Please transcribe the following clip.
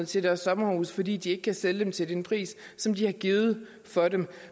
til deres sommerhuse fordi de ikke kan sælge dem til den pris som de har givet for dem